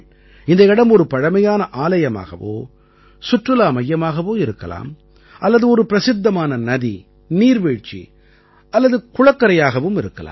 இந்த இடம் ஒரு பழமையான ஆலயமாகவோ சுற்றுலா மையமாகவோ இருக்கலாம் அல்லது ஒரு பிரசித்தமான நதி நீர்வீழ்ச்சி அல்லது குளக்கரையாகவும் இருக்கலாம்